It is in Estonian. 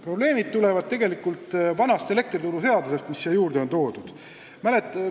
Probleemid tulenevad tegelikult vanast elektrituruseadusest, mis siia juurde on toodud.